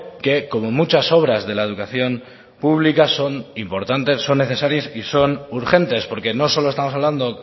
que como muchas obras de la educación pública son importantes son necesarias y son urgentes porque no solo estamos hablando